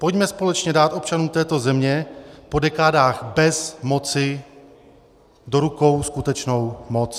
Pojďme společně dát občanům této země po dekádách bez-moci do rukou skutečnou moc.